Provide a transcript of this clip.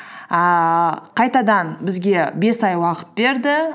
ііі қайтадан бізге бес ай уақыт берді